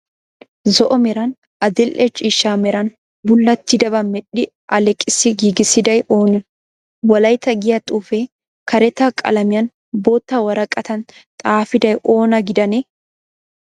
Zo'o meran adil'e ciishsha meran bullattidabaaa medhdhi alleeqissi giigissiday oonee? Wolaita giyaa xuufee karetta qalamiyan bootta woraqatan xaafiday oona gidanee?